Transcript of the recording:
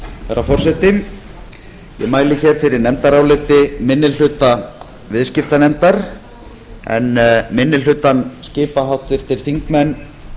herra forseti ég mæli hér fyrir nefndaráliti minni hluta viðskiptanefndar en minni hlutann skipa háttvirtir þingmenn